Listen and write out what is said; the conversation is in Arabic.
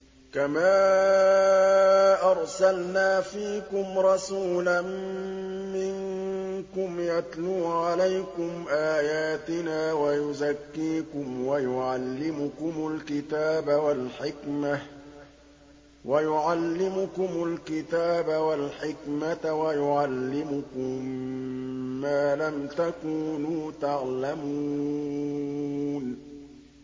كَمَا أَرْسَلْنَا فِيكُمْ رَسُولًا مِّنكُمْ يَتْلُو عَلَيْكُمْ آيَاتِنَا وَيُزَكِّيكُمْ وَيُعَلِّمُكُمُ الْكِتَابَ وَالْحِكْمَةَ وَيُعَلِّمُكُم مَّا لَمْ تَكُونُوا تَعْلَمُونَ